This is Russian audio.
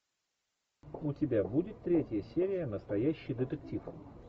у тебя будет третья серия настоящий детектив